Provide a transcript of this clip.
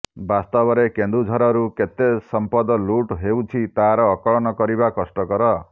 ବାସ୍ତବରେ କେନ୍ଦୁଝରରୁ କେତେ ସମ୍ପଦ ଲୁଟ ହେଉଛି ତାର ଆକଳନ କରିବା କଷ୍ଟକର